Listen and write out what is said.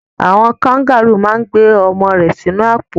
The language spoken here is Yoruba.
Àwon kangaru ma n gbé ọmọ rẹ sínú àpò